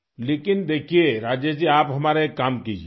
لیکن دیکھئے راجیش جی، آپ ہمارا ایک کام کیجئے، کریں گے؟